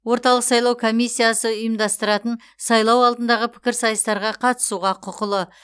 орталық сайлау комиссиясы ұйымдастыратын сайлау алдындағы пікірсайыстарға қатысуға құқылы